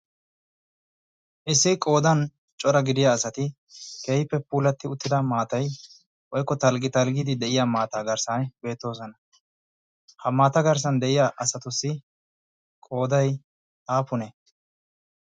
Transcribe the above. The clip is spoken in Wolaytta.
Issi qoodan cora gidida asati keehippe puulatti ettida maatayi woykko talggi talggiiddi de"iya maataa garssaani beettosona. Ha maata garssan de"iya asatussi qoodayi aappunee?